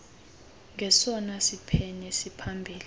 njengesona siphene siphambili